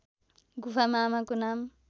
गुफामा आमाको नाम